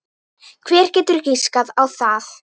Hver getur giskað á það?